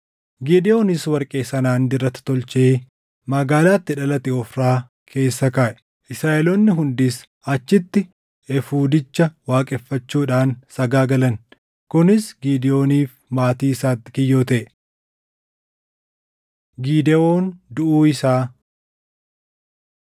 Gidewoonis warqee sanaan dirata tolchee magaalaa itti dhalate Ofraa keessa kaaʼe. Israaʼeloonni hundis achitti efuudicha waaqeffachuudhaan sagaagalan. Kunis Gidewooniif maatii isaatti kiyyoo taʼe. Gidewoon Duʼuu Isaa